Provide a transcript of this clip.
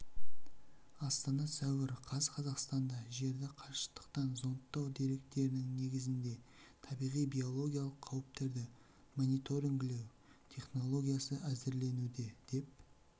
астана сәуір қаз қазақстанда жерді қашықтықтан зондтау деректерінің негізінде табиғи биологиялық қауіптерді мониторингілеу технологиясы әзірленуде деп